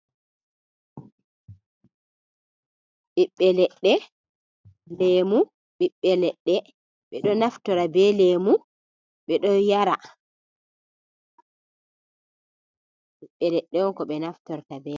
Ɓiɓɓe leɗɗe leemu, ɓiɓɓe leɗɗe ɓe ɗo naftora be leemu, ɓe ɗo yara, ɓiɓɓe leɗɗe on ko ɓe naftorta be man.